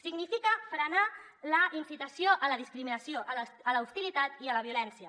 significa frenar la incitació a la discriminació a l’hostilitat i a la violència